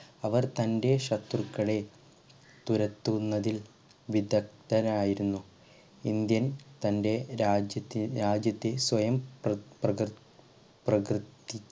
അവർ തൻ്റെ ശത്രുക്കളെ തുരത്തുന്നതിൽ വിദഗ്ധരായിരുന്നു ഇന്ത്യൻ തൻ്റെ രാജ്യത്തെ രാജ്യത്തിൽ സ്വയം പ്ര പ്രകൃ പ്രകൃ